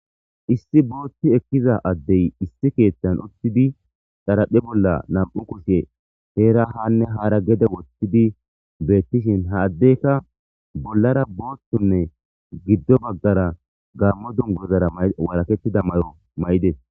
Issi boot ekiza adey issi kethan uxid xaraphe bolla 2 kushe Hera haane hara gede gede wothid betishn ha Adeyka bollara boothunne gido bagara gamo dunguzara walaketida mayo mayides.